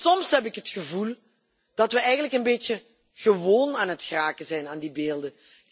Soms heb ik het gevoel dat we eigenlijk een beetje gewend aan het raken zijn aan die beelden.